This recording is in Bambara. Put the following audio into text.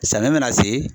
Samiyɛ mana se